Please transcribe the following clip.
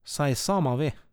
Saj sama ve.